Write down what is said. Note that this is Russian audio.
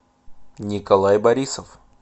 николай борисов